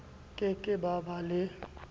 ke ke ba ba le